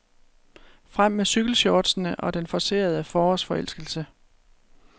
Frem med cykelshortsene og den forcerede forårsforelskelse.